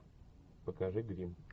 покажи грим